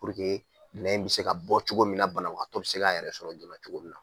nɛn in bɛ se ka bɔ cogo min banabagatɔ bɛ se ka yɛrɛ sɔrɔ joona cogo min na